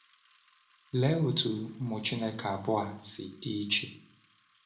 Lee otú ụmụ Chineke abụọ a si dị iche!